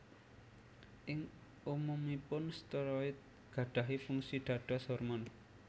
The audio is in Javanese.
Ing umumuipun steroid gadahi fungsi dados hormon